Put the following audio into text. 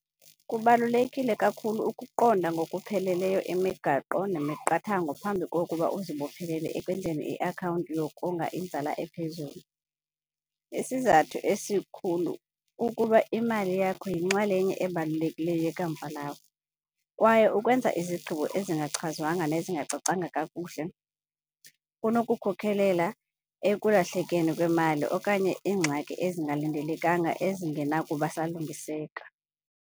Kubalulekile kakhulu ukuqonda ngokupheleleyo imigaqo nemiqathango phambi kokuba uzibophelele ekwenzeni iakhawunti yokonga inzala ephezulu. Isizathu esikhulu kukuba imali yakho yinxalenye ebalulekileyo yekamva lakho kwaye ukwenza izigqibo ezingachazwanga nezingacacanga kakuhle kunokukhokelela ekulahlekeni kwemali okanye iingxaki ezingalindelekanga ezingenakuba salungiseka.